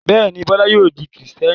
Bẹ́ẹ̀ ni, Bọ́lá yóò di Kìrìtẹ́ẹ́nì.